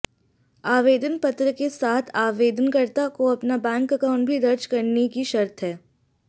आवेदन पत्र के साथ आवेदनकर्ता को अपना बैंक अकाउंट भी दर्ज करने की शर्त है